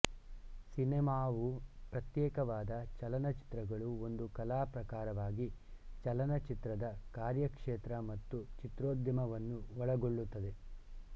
ಸಿನಮಾವು ಪ್ರತ್ಯೇಕವಾದ ಚಲನಚಿತ್ರಗಳು ಒಂದು ಕಲಾ ಪ್ರಕಾರವಾಗಿ ಚಲನಚಿತ್ರದ ಕಾರ್ಯಕ್ಷೇತ್ರ ಮತ್ತು ಚಿತ್ರೋದ್ಯಮವನ್ನು ಒಳಗೊಳ್ಳುತ್ತದೆ